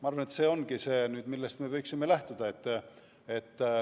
Ma arvan, et see ongi see, millest me võiksime lähtuda.